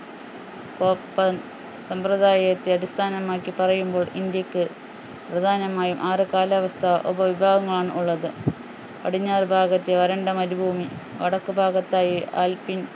ഒപ്പം സമ്പ്രദായത്തെ അടിസ്ഥാനമാക്കി പറയുമ്പോൾ ഇന്ത്യക്ക് പ്രധാനമായും ആറു കാലാവസ്ഥാ ഉപവിഭാഗങ്ങളാണ് ഉള്ളത് പടിഞ്ഞാറു ഭാഗത്ത് വരണ്ട മരുഭൂമി വടക്കുഭാഗത്തായി ആൽപൈൻ